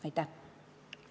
Aitäh!